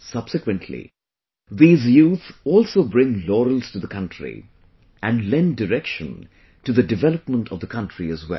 Subsequently, these youth also bring laurels to the country and lend direction to the development of the country as well